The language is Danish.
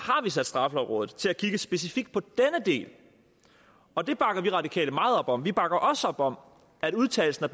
sat straffelovrådet til at kigge specifikt på denne del og det bakker vi radikale meget op om vi bakker også op om at udtalelsen